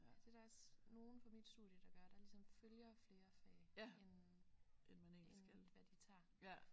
Det er der også nogle fra mit studie der gør der ligesom følger flere fag end end hvad de tager